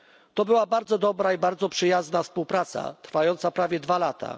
To była bardzo dobra i bardzo przyjazna współpraca trwająca prawie dwa lata.